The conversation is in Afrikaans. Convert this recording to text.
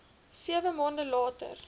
sewe maande later